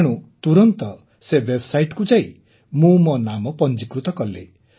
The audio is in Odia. ତେଣୁ ତୁରନ୍ତ ସେ ୱେବ୍ସାଇଟ୍ କୁ ଯାଇ ମୁଁ ମୋ ନାମ ପଞ୍ଜିକୃତ କଲି